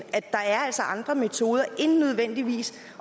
andre metoder end nødvendigvis